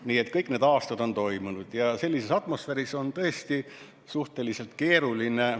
Nii et kõik need aastad on see toimunud ja sellises atmosfääris on see tõesti suhteliselt keeruline.